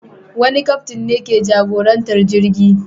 Wani kaftin ne ke jagorantar jirgi.